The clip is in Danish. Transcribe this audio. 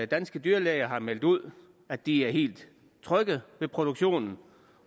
danske dyrlæger har meldt ud at de er helt trygge ved produktionen